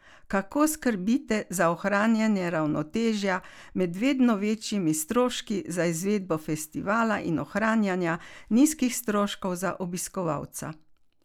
Kako skrbite za ohranjanje ravnotežja med vedno večjimi stroški za izvedbo festivala in ohranjanja nizkih stroškov za obiskovalca?